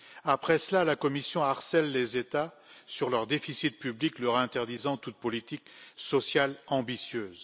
Après cela, la Commission harcèle les États sur leur déficit public, leur interdisant toute politique sociale ambitieuse.